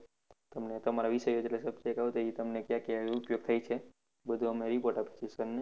તમને તમારા વિષયે એ તમને ક્યાં ક્યાં ઉપયોગ થાય છે બધુ અમે report આપીશું sir ને